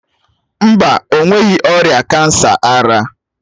Mba, o nweghi ọrịa kansa ara.